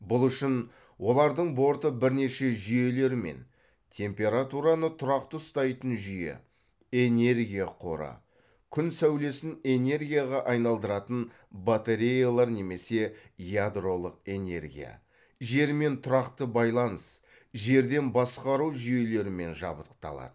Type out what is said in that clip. бұл үшін олардың борты бірнеше жүйелермен температураны тұрақты ұстайтын жүйе энергия қоры күн сәулесін энергияға айналдыратын батареялар немесе ядролық энергия жермен тұрақты байланыс жерден басқару жүйелерімен жабдықталады